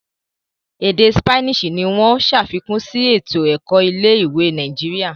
Èdè Sipeeni ní wón ṣàfikún sí eto-ẹkọ ilé-ìwé Nàìjíríà.